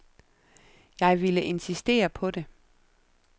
Jeg ville insistere på det.